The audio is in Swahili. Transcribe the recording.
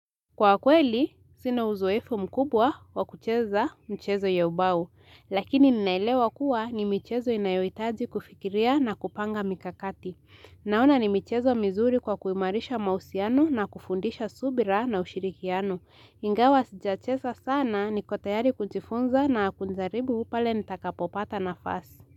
Kwa kweli, sina uzoefu mkubwa wa kucheza mchezo ya ubau. Lakini ninaelewa kuwa ni michezo inayohitaji kufikiria na kupanga mikakati. Naona ni michezo mizuri kwa kuimarisha mahusiano na kufundisha subira na ushirikiano. Ingawa sijacheza sana niko tayari kujifunza na kujaribu pale nitakapopata nafasi.